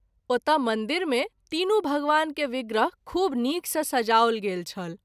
ओतय मंदिर मे तीनू भगवान के विग्रह खूब नीक सँ सजाओल गेल छल।